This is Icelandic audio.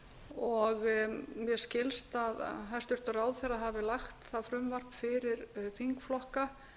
og mér skilst að hæstvirtur ráðherra hafi lagt það frumvarp fyrir þingflokka